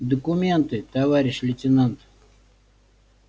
документы товарищ лейтенант